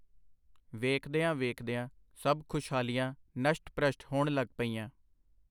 ਵੇਖਦਿਆਂ ਵੇਖਦਿਆਂ ਸਭ ਖੁਸ਼ਹਾਲੀਆਂ ਨਸ਼ਟ-ਭ੍ਰਸ਼ਟ ਹੋਣ ਲਗ ਪਈਆਂ.